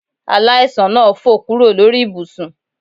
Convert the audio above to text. Aláìsàn náà fò kúrò lórí ibùsùn